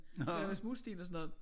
Der var småsten og sådan noget